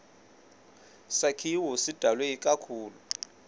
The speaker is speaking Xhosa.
sakhiwo sidalwe ikakhulu